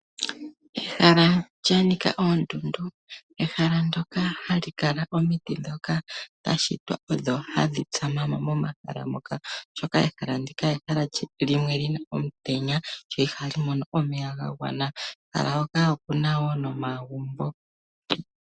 Ehala lyanika oondundu, ehala ndoka hali kala omiti dhoka dhashitwa po, dho ohadhi tsa ma mo momahala moka. Ehala ndika olyi na omutenya, ihali mono omeya ga gwana, mo omu na woo nomagmbo.